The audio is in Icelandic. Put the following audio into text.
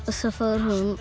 og